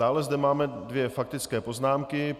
Dále zde máme dvě faktické poznámky.